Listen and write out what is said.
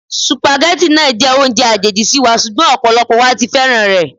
Sùpàgẹ́tì náà jẹ́ oúnjẹ àjèjì sí wa, ṣùgbọ́n ọ̀pọ̀lọpọ̀ wa ti wá féràn rẹ̀.